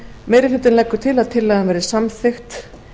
meiri hlutinn leggur til að tillagan verði samþykkt